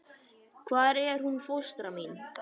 Hvar er hún fóstra mín?